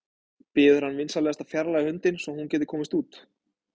Biður hann vinsamlegast að fjarlægja hundinn svo að hún geti komist út.